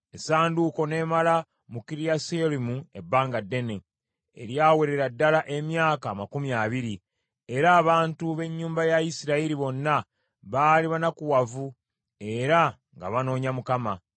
Essanduuko n’emala mu Kiriyasuyalimu ebbanga ddene, eryawerera ddala emyaka amakumi abiri, era abantu b’ennyumba ya Isirayiri bonna baali banakuwavu era nga banoonya Mukama .